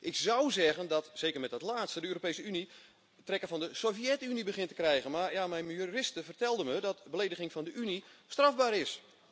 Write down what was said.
Ik zou zeggen dat zeker met dat laatste de Europese Unie trekken van de Sovjet-Unie begint te krijgen, maar ja, mijn juriste vertelde me dat belediging van de Unie strafbaar is.